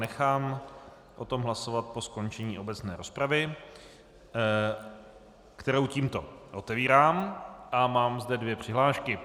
Nechám o tom hlasovat po skončení obecné rozpravy, kterou tímto otevírám, a mám zde dvě přihlášky.